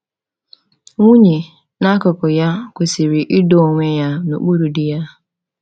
Nwunye, n’akụkụ ya, kwesịrị ịdọ onwe ya n’okpuru di ya.